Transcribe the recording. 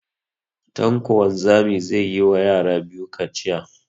Tanko wanzami zai yi ma yara biyu kaciya